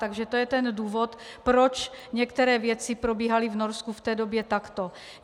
Takže to je ten důvod, proč některé věci probíhaly v Norsku v té době takto.